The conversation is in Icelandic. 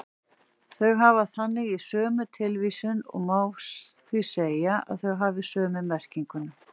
Þau hafa þannig sömu tilvísun og má því segja að þau hafi sömu merkingu.